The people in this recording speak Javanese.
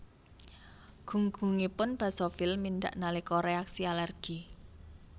Gunggungipun basofil mindhak nalika reaksi alergi